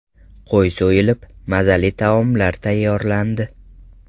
Qo‘y so‘yilib, mazali taomlar tayyorlandi.